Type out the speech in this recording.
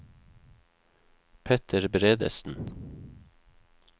Petter Bredesen